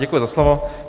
Děkuji za slovo.